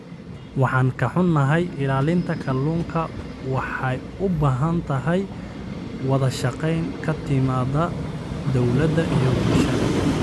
Waan ka xunahay, ilaalinta kalluunka waxay u baahan tahay wada shaqayn ka timaada dawladda iyo bulshada.